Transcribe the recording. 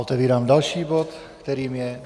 Otevírám další bod, kterým je